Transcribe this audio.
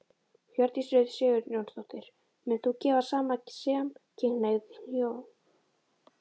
Hjördís Rut Sigurjónsdóttir: Munt þú gefa saman samkynhneigð hjón?